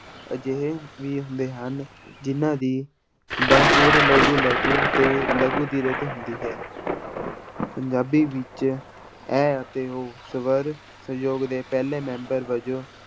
ਅਜਿਹੇ ਵੀ ਹੁੰਦੇ ਹਨ ਜਿੰਨਾਂ ਦੀ ਬਣਤਰ ਲਘੂ ਲਘੂ ਤੇ ਲਘੂ ਦੀਰਘ ਹੁੰਦੀ ਹੈ ਪੰਜਾਬੀ ਵਿੱਚ ਇਹ ਅਤੇ ਉਹ ਸਵਰ ਸਯੋਗ ਦੇ ਪਹਿਲੇ ਮੈਂਬਰ ਵਜੋਂ